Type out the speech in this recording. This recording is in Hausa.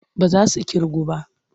Ba za su ƙirgu ba.